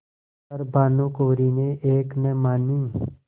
पर भानुकुँवरि ने एक न मानी